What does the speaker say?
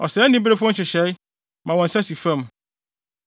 Ɔsɛe aniferefo nhyehyɛe, ma wɔn nsa si fam.